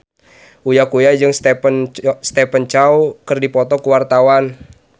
Uya Kuya jeung Stephen Chow keur dipoto ku wartawan